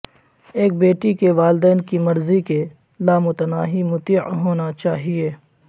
ایک بیٹی کے والدین کی مرضی کے لامتناہی مطیع ہونا چاہئے